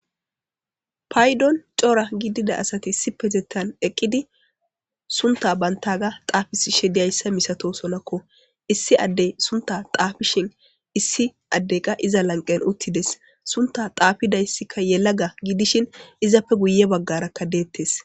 paydon cora gidida asati issipetetan eqqidi sunta bantaga xaafishe diyayssa misatosonakko issi addey sunta xaafishin issi addeqa iza lanqen uttides sunta xaafidayssikka yela ga gidishin izappe guye baggarakka deettes.